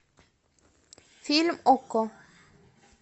фильм окко